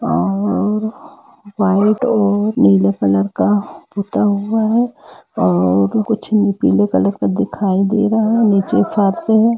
और वाईट और नीले कलर का पुता हुआ है और कुछ पीले कलर का दिखाय दे रहा है नीचे फर्स --